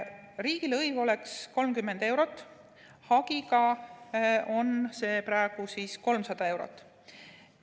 Riigilõiv oleks 30 eurot, hagiga on see praegu 300 eurot.